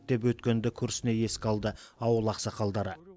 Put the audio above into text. деп өткенді күрсіне еске алды ауыл ақсақалдары